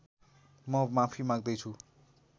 म माफी माग्दै छु